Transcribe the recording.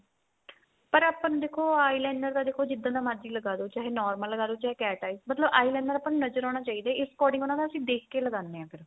ਪਰ ਆਪਾਂ ਨੂੰ ਦੇਖੋ eyeliner ਦਾ ਦੇਖੋ ਜਿੱਦਾਂ ਦਾ ਮਰਜੀ ਲਗਾਲੋ ਚਾਹੇ normal ਲਗਾਲੋ ਚਾਹੇ cat eye ਮਤਲਬ eyeliner ਆਪਾਂ ਨੂੰ ਨਜਰ ਆਉਣਾ ਚਾਹੀਦਾ ਇਸ according ਆਪਾਂ ਉਹਨਾਂ ਨੂੰ ਦੇਖ ਕੇ ਲਗਾਨੇ ਆ ਫ਼ਿਰ